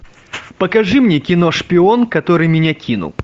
покажи мне кино шпион который меня кинул